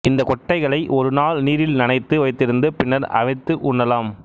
இந்த கொட்டைகளை ஒரு நாள் நீரில் நனைத்து வைத்திருந்து பின்னர் அவித்து உண்ணலாம்